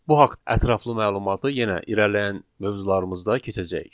Bu haqda ətraflı məlumatı yenə irəliləyən mövzularımızda keçəcəyik.